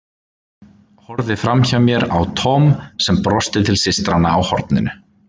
Horfði framhjá mér á Tom sem brosti til systranna á horninu.